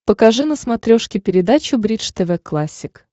покажи на смотрешке передачу бридж тв классик